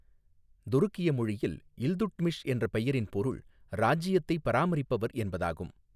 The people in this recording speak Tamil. துருக்கிய மொழியில் 'இல்துட்மிஷ்' என்ற பெயரின் பொருள் 'ராஜ்ஜியத்தைப் பராமரிப்பவர்' என்பதாகும்.